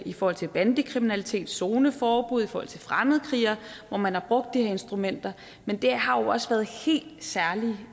i forhold til bandekriminalitet med zoneforbud i forhold til fremmedkrigere hvor man har brugt de her instrumenter men det har jo også været helt særlige